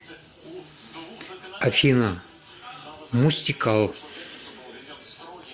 афина мустикал